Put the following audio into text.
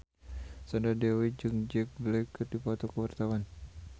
Sandra Dewi jeung Jack Black keur dipoto ku wartawan